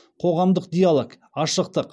қоғамдық диалог ашықтық